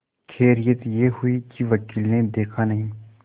खैरियत यह हुई कि वकील ने देखा नहीं